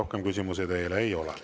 Rohkem küsimusi teile ei ole.